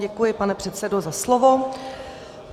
Děkuji, pane předsedo, za slovo.